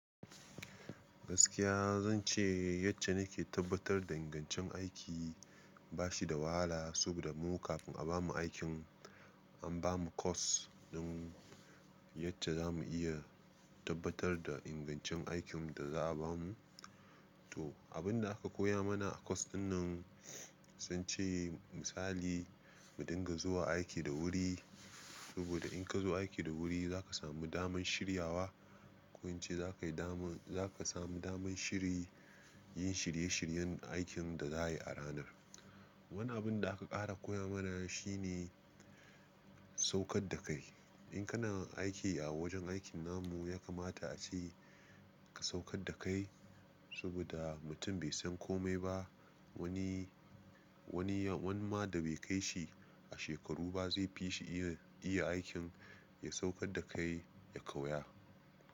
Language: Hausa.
Gaskiya zan ce ycace nake tabbatar da ingancin aiki bashi da wahala saboda mu kafin a bamu aikin an bamu course don yace zamu iya tabbatar da ingancin aikin da za a bamu. To abin da aka koya mana a course ɗin nan sun ce misali mu dinga zuwa aiki da wuri saboda in ka zo aiki da wuri zaka samu daman shiryawa ko in ce zakayi dama zaka samu daman shiri yin shirye shiryen aikin da za a yi a ranar. Wani abin da aka ƙara koya mana shine saukar da kai. In kana aiki a wajen aikin namu ya kamata ace ka saukar da kai saboda mutum bai san komai ba. Wani, wani ya, wani ma da bai kai shi a shekaru ba zai fi shi iya, iya aikin ya saukar da kai ya kauya.